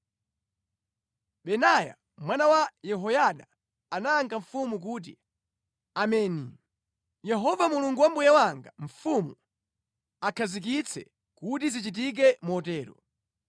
Benaya mwana wa Yehoyada anayankha mfumu kuti, “Ameni! Yehova Mulungu wa mbuye wanga mfumu akhazikitse kuti zichitike motero.